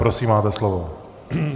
Prosím, máte slovo.